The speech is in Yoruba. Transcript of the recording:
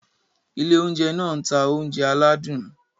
Ile ounjẹ náà n ta ounjẹ aladun.